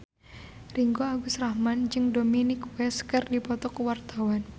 Ringgo Agus Rahman jeung Dominic West keur dipoto ku wartawan